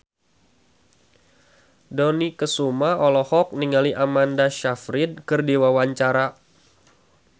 Dony Kesuma olohok ningali Amanda Sayfried keur diwawancara